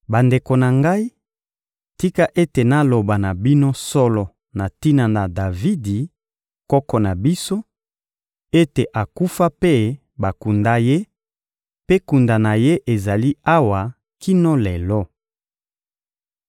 Bandeko na ngai, tika ete naloba na bino solo na tina na Davidi, koko na biso, ete akufa mpe bakunda ye; mpe kunda na ye ezali awa kino lelo.